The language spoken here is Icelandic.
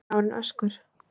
Annar dagurinn: Öskur.